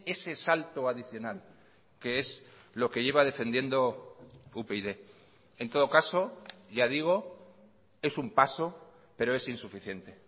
ese salto adicional que es lo que lleva defendiendo upyd en todo caso ya digo es un paso pero es insuficiente